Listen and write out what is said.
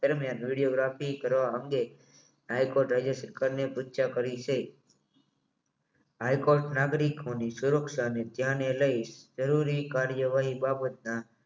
દરમિયાન વિડીયોગ્રાફી કરવા અંગે હાઇકોર્ટે સરકારને કરી છે હાઇકોર્ટ નાગરિક સુરક્ષા ને ધ્યાને લઇ જરૂરી કરવાથી બાબતના